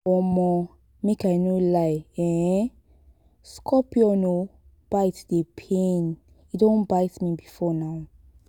um make i no lie um scorpion um bite dey pain. e don bite me before nah